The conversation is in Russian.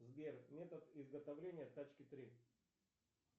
сбер метод изготовления тачки три